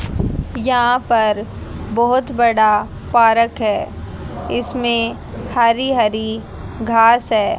यहां पर बहोत बड़ा पारक है इसमें हरी हरी घास है।